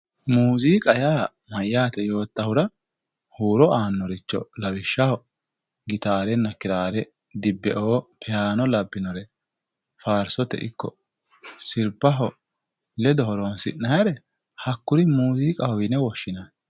muuziqa yaa mayyaate yoottahura huuro aannoricho lawishshaho gitaarenna kiraare, dibbeo piyaano labbinore sirbaho ledo horonsi'nayire hahhuri muuziiqahowe yine woshshinanni.